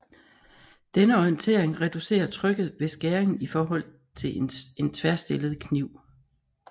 Denne orientering reducerer trykket ved skæringen i forhold til en tværstillet kniv